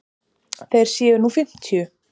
Þeir séu nú fimmtíu.